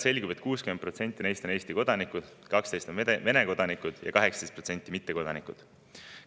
Selgub, et 60% neist on Eesti kodanikud, 12% Vene kodanikud ja 18% mittekodanikud.